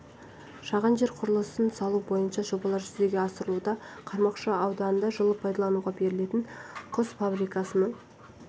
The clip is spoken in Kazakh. шаған жер құрылысын салу бойынша жобалар жүзеге асырылуда қармақшы ауданында жылы пайдалануға берілетін құс фабрикасының